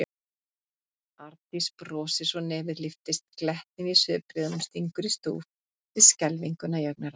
Arndís brosir svo nefið lyftist, glettnin í svipbrigðunum stingur í stúf við skelfinguna í augnaráðinu.